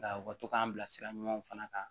Nka u ka to k'an bila sira ɲumanw fana kan